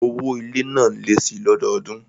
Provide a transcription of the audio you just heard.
Owó ilé náà lé síi lọ́dọọdún